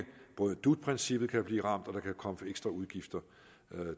både dut princippet kan blive ramt og at der kan komme ekstra udgifter